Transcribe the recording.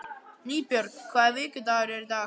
Nýbjörg, hvaða vikudagur er í dag?